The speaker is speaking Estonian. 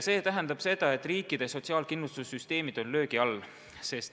See tähendab seda, et riikide sotsiaalkindlustussüsteemid on löögi all.